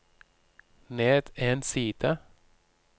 ned en side